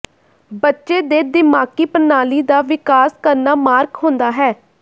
ਬੱਚੇ ਦੇ ਦਿਮਾਗੀ ਪ੍ਰਣਾਲੀ ਦਾ ਵਿਕਾਸ ਕਰਨਾ ਮਾਰਕ ਹੁੰਦਾ ਹੈ